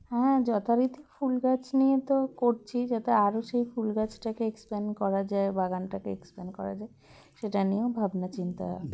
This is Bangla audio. হ্যাঁ যথারীতি ফুলগাছ নিয়ে তো করছি যাতে আরও সেই ফুলগাছটাকে expand করা যায় বাগানটাকে expand করা যায় সেটা নিয়েও ভাবনাচিন্তা